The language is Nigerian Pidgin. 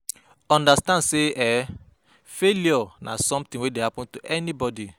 Understand sey um failure na something wey dey happen to anybody